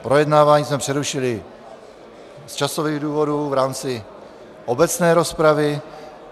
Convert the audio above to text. Projednávání jsme přerušili z časových důvodů v rámci obecné rozpravy.